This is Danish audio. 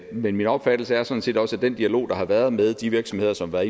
men min opfattelse er sådan set også at den dialog der har været med de virksomheder som er